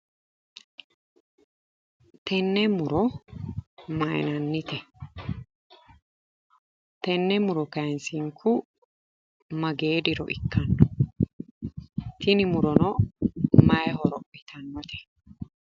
Tenne muro mayinannite? Tenne muro kayinsinku magee diro ikkanno? Tini murono mayi horo abbitannote?